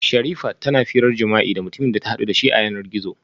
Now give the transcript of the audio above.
Sherifat tana jima'i tana hira da mutumin da ta hadu dashi a yanar gizo